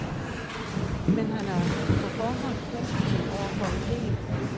Men han er på forhånd positiv over for idéen.